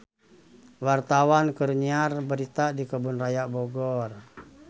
Wartawan keur nyiar berita di Kebun Raya Bogor